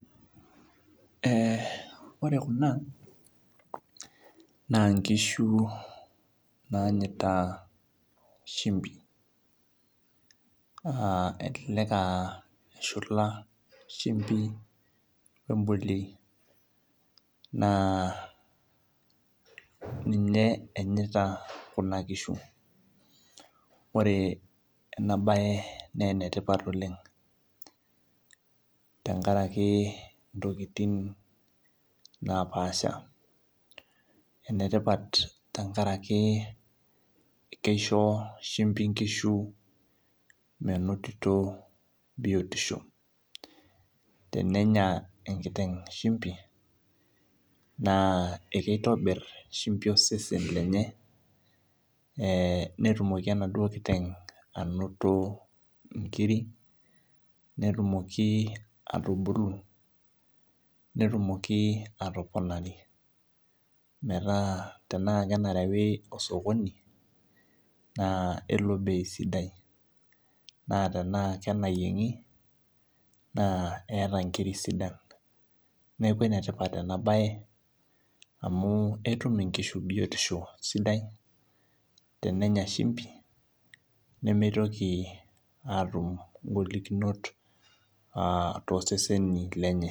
Ore Kuna, naa inkishu naanyaita shumbi, elelek eahula shumbi we embolioi naa ninye enyaita Kuna kishu, ore ena baye naa ene tipat oleng' tenkaraki intokitin napaasha. Ene tipat tenkaraki keisho shumbi inkishu meinotito biotisho. Tenenyai enkiteng' shumbi naa keitobir shumbi osesen lenye, netumoki enaduo kiteng' ainoto inkiri netumoki atubulu, netumoki atubulu, metaa tenaake enarewi sokoni naake eitai bei sidai naa tenaa enayieng'i, naa eata inkiri sidan, neaku ene tipat ena baye amu etum inkishu biotisho sidai tenenya shumbi, nemeitoki aatau ingolikinot too seseni lenye.